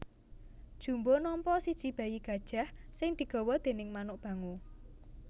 Jumbo nampa siji bayi gajah sing digawa déning manuk bango